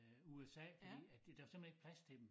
Øh USA fordi at der var simpelthen ikke plads til dem